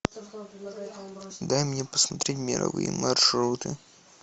дай мне посмотреть мировые маршруты